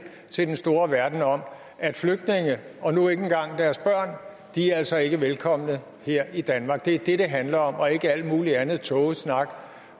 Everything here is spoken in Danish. til den store verden om at flygtninge og nu ikke engang deres børn altså ikke er velkomne her i danmark det er det det handler om og ikke al mulig anden tågesnak